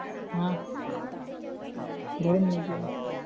हा बोला ना